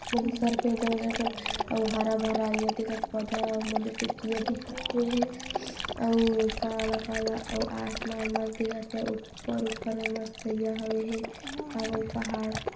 बहुत सारा पेड़ जंगल टाइप अउ हरा-भरा ये दिखत हे पौधा ह अउ मंदिर टाइप के ये दिखत हे अउ काला काला अउ आसमान मन दिखत हे ऊपर ऊपर म मस्त य व हे का बोल पहाड़ --